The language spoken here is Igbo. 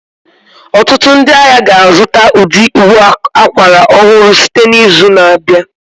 Ọtụtụ ndị ahịa ga-azụta ụdị ụbọ akwara ọhụrụ site n'izu na-abịa